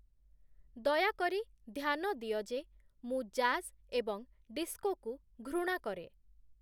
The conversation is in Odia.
ଦୟାକରି ଧ୍ୟାନ ଦିଅ ଯେ ମୁଁ ଜାଜ୍ ଏବଂ ଡିସ୍କୋକୁ ଘୃଣା କରେ